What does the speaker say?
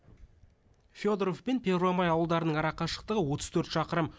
фёдоров пен первомай ауылдарының арақашықтығы отыз төрт шақырым